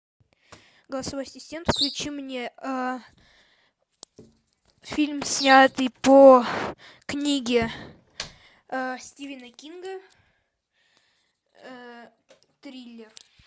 голосовой ассистент включи мне фильм снятый по книге стивена кинга триллер